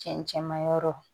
Cɛncɛnmayɔrɔ